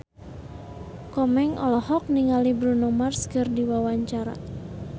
Komeng olohok ningali Bruno Mars keur diwawancara